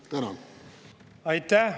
Aitäh!